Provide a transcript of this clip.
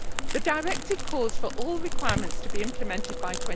The directive calls for all requirements to be implemented by